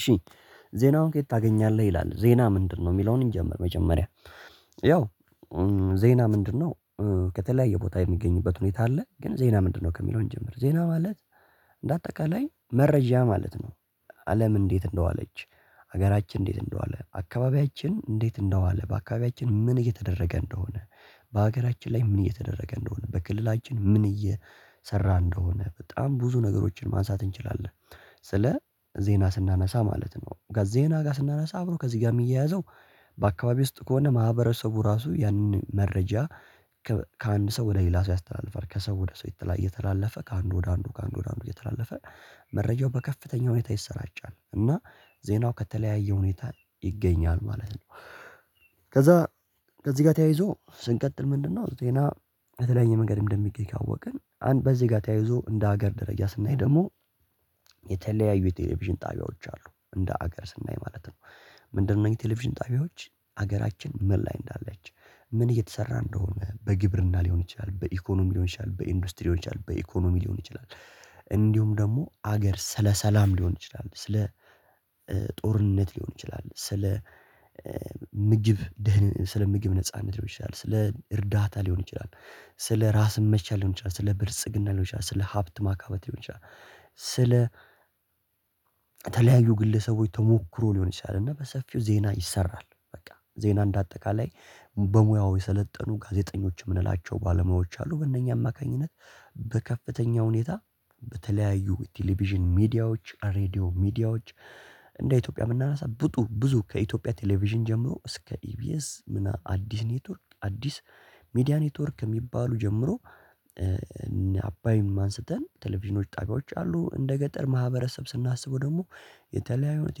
እሺ ዜናውን ከየት ታገኛለህ? ይላል ዜና ምንድነው የሚለውን እንጀምር። መጀመሪያ ያው ዜና ምንድነው? ከተለያየ ቦታ የሚገኝበት ሁኔታ አለ። ግን ዜና ምንድነው ከሚለው እንጀምር ዜና ማለት እንደ አጠቃላይ መረጃ ማለት ነው። አለም እንዴት እንደዋለች ሀገራችን እንዴት እንደዋለ አካባቢያችን እንዴት እንደዋለ በአካባቢያችን ምን እየተደረገ እንደሆነ በሀገራችን ላይ ምን እየተደረገ እንደሆነ በክልላችን ምን እየሰራ እንደሆነ በጣም ብዙ ነገሮችን ማንሳት እንችላለን። ስለ ዜና ስናነሳ ማለት ነው። ጋዜና ጋር ስናነሳ አብሮ ከዚህ ጋር የሚያያዘው በአካባቢ ውስጥ ከሆነ ማህበረሰቡ ራሱ ያንን መረጃ ከአንድ ሰው ወደ ሌላ ሰው ያስተላልፋል። ከሰው ወደ ሰው እየተላለፈ ከአንዱ ወደ አንዱ ከአንዱ ወደ አንዱ እየተላለፈ መረጃው በከፍተኛ ሁኔታ ይሰራጫል። እና ዜናው ከተለያየ ሁኔታ ይገኛል ማለት ነው። ከዛ ከዚህ ጋር ተያይዞ ስንቀጥል ምንድነው? ዜና በተለያየ መንገድ እንደሚገኝ ካወቅን አንድ በዚህ ጋር ተያይዞ እንደ ሀገር ደረጃ ስናይ ደግሞ የተለያዩ የቴሌቪዥን ጣቢያዎች አሉ። እንደ ሀገር ስናይ ማለት ነው። ምንድነው የቴሌቪዥን ጣቢያዎች ሀገራችን ምን ላይ እንዳለች ምን እየተሰራ እንደሆነ በግብርና ሊሆን ይችላል። በኢኮኖሚ ሊሆን ይችላል በኢንዱስትሪ ሊሆን ይችላል በኢኮኖሚ ሊሆን ይችላል። እንዲሁም ደግሞ ሀገር ስለ ሰላም ሊሆን ይችላል ስለ ጦርነት ሊሆን ይችላል ስለ ምጅብ ደህን ስለ ምግብ ነጻነት ሊሆን ይችላል። ስለ እርዳታ ሊሆን ይችላል ስለ ራስ መቻል ሊሆን ይችላል ስለ ብልጽግና ሊሆን ይችላል ስለ ሀብት ማካበት ሊሆን ይችላል። ስለ ተለያዩ ግለሰቦች ተሞክሮ ሊሆን ይችላል። እና በሰፊው ዜና ይሰራል በቃ ዜና እንደ አጠቃላይ በሙያው የሰለጠኑ ጋዜጠኞች የምንላቸው ባለሙያዎች አሉ። በእነኛ አማካኝነት በከፍተኛ ሁኔታ በተለያዩ ቴሌቪዥን ሚዲያዎች ሬድዮ ሚዲያዎች እንደ ኢትዮጵያ ብናነሳ ብጡ ብዙ ከኢትዮጵያ ቴሌቪዥን ጀምሮ እስከ ኢቢኤስ እና አዲስ ኔትወርክ አዲስ ሚዲያ ኔትወርክ የሚባሉ ጀምሮ አባይም አንስተን ቴሌቪዥኖች ጣቢያዎች አሉ። እንደ ገጠር ማህበረሰብ ስናስበው ደግሞ የተለያዩ አይነት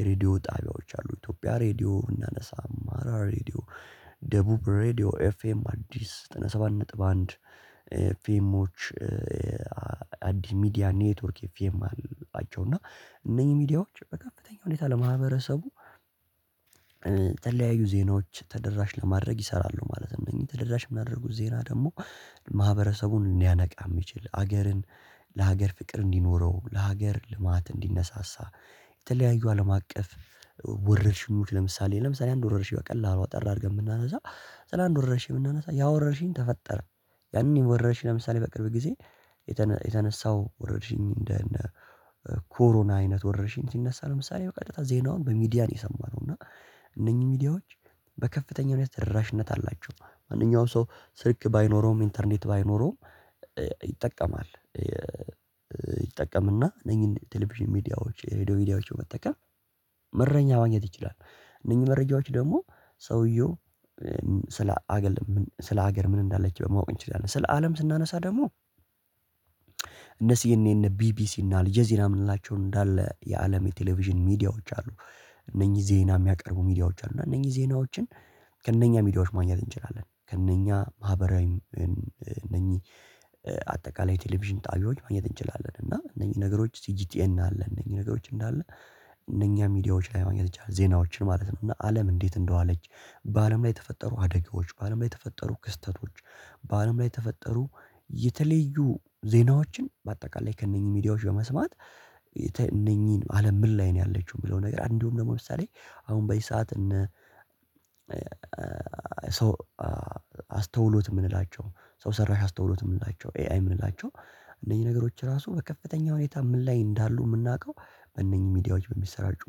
የሬዲዮ ጣቢያዎች አሉ። ኢትዮጵያ ሬዲዮ እናነሳ አማራ ሬዲዮ ደቡብ ሬዲዮ ኤፍኤም አዲስ ዘጠና ሰባት ነጥብ አንድ ኤፍኤሞች አዲስ ሚዲያ ኔትወርክ ኤፍኤም አላቸው። እና እነኚህ ሚዲያዎች በከፍተኛ ሁኔታ ለማህበረሰቡ ተለያዩ ዜናዎች ተደራሽ ለማድረግ ይሰራሉ ማለት ነው። እነኚህ ተደራሽ የሚያደርጉት ዜና ደግሞ ማህበረሰቡን ሊያነቃ የሚችል ሀገርን ለሀገር ፍቅር እንዲኖረው ለሀገር ልማት እንዲነሳሳ የተለያዩ አለም አቀፍ ወረርሽኞች ለምሳሌ ለምሳሌ አንድ ወረርሽኝ በቀላሉ አጠር አድርገን ብናነሳ ስለ አንድ ወረርሽኝ ብናነሳ ያወረርሽኝ ተፈጠረ። ያንን ወረርሽኝ ለምሳሌ በቅርብ ጊዜ የተነሳው ወረርሽኝ እንደ ኮሮና አይነት ወረርሽኝ ሲነሳ ለምሳሌ በቀጥታ ዜናውን በሚዲያ ነው የሰማነው። እና እነኚህ ሚዲያዎች በከፍተኛ ሁኔታ ተደራሽነት አላቸው አንድኛው ሰው ስልክ ባይኖረውም ኢንተርኔት ባይኖረውም ይጠቀማል። ይጠቀምና እነኚህን ቴሌቪዥን ሚዲያዎች ሬዲዮ ሚዲያዎችን መጠቀም መረጃ ማግኘት ይችላል። እነኚህ መረጃዎች ደግሞ ሰውየው ስለ ሀገር ስለ ሀገር ምን እንዳለች ማወቅ እንችላለን ስለ አለም ስናነሳ ደግሞ እነሱ የነ እነ ቢቢሲ እነ አልጀዚራ የምንላቸው እንዳለ የአለም የቴሌቪዥን ሚዲያዎች አሉ። እነኚህ ዜና የሚያቀርቡ ሚዲያዎች አሉ እና እነኚህ ዜናዎችን ከእነኛ ሚዲያዎች ማግኘት እንችላለን። ከእነኛ ማህበራዊ እነኚህ አጠቃላይ የቴሌቪዥን ጣቢያዎች ማግኘት እንችላለን እና እነኚህ ነገሮች ሲጂቲኤን አለ እነኚህ ነገሮች እንዳለ እነኛ ሚዲያዎች ላይ ማግኘት ይቻላል ዜናዎችን ማለት ነው። እና አለም እንዴት እንደዋለች በአለም ላይ የተፈጠሩ አደጋዎች በአለም ላይ የተፈጠሩ ክስተቶች በአለም ላይ የተፈጠሩ የተለዩ ዜናዎችን በአጠቃላይ ከእነኚህ ሚዲያዎች በመስማት እነኚህን አለም ምን ላይ ነው ያለችው የሚለው ነገር እንዲሁም ደግሞ ለምሳሌ አሁን በዚህ ሰዓት እነ ሰው አስተውሎት የምንላቸው ሰው ሰራሽ አስተውሎት የምንላቸው ኤአይ የምንላቸው እነኚህ ነገሮች ራሱ በከፍተኛ ሁኔታ ምን ላይ እንዳሉ የምናውቀው በእነኚህ ሚዲያዎች በሚሰራጩ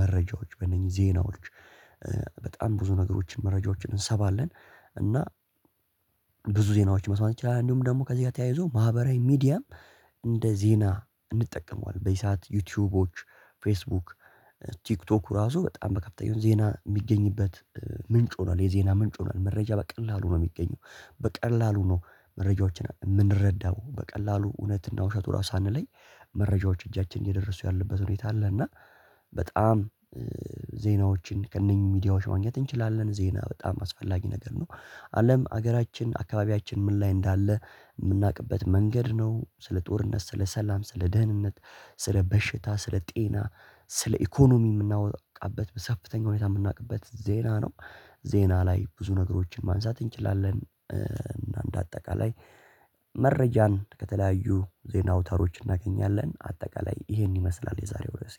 መረጃዎች በእነኚህ ዜናዎች በጣም ብዙ ነገሮችን መረጃዎችን እንሰማለን። እና ብዙ ዜናዎች መስማት ይቻላል። እንዲሁም ደግሞ ከዚህ ጋር ተያይዞ ማህበራዊ ሚዲያም እንደ ዜና እንጠቀመዋለን በዚህ ሰዓት ዩቲዩቦች ፌስቡክ ቲክቶኩ ራሱ በጣም በከፍተኛ ዜና የሚገኝበት ምንጭ ሆኗል የዜና ምንጭ ሆኗል። መረጃ በቀላሉ ነው የሚገኘው። በቀላሉ ነው መረጃዎችን የምንረዳው በቀላሉ እውነትና ውሸቱ ራሱ ሳንለይ መረጃዎች እጃችን እየደረሱ ያለበት ሁኔታ አለ። እና በጣም ዜናዎችን ከእነኚህ ሚዲያዎች ማግኘት እንችላለን ዜና በጣም አስፈላጊ ነገር ነው። አለም ሀገራችን አካባቢያችን ምን ላይ እንዳለ የምናውቅበት መንገድ ነው። ስለ ጦርነት ስለ ሰላም ስለ ደህንነት ስለ በሽታ ስለ ጤና ስለ ኢኮኖሚ የምናውቅበት በሰፍተኛ ሁኔታ የምናውቅበት ዜና ነው። ዜና ላይ ብዙ ነገሮችን ማንሳት እንችላለን እና እንደ አጠቃላይ መረጃን ከተለያዩ ዜና አውታሮች እናገኛለን። አጠቃላይ ይሄን ይመስላል የዛሬው ርዕሴ